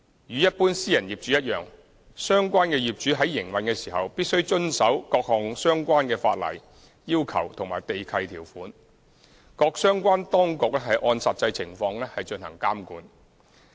與一般私人業主一樣，相關業主在營運時，必須遵守各項相關的法例要求和地契條款，各相關當局按實際情況進行監管。